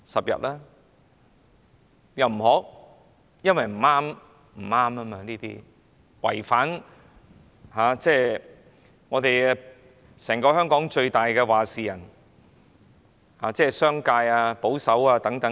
因為這樣做不對，會損害香港最大"話事人"，即商界和保守派的利益。